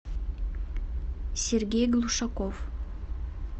сергей глушаков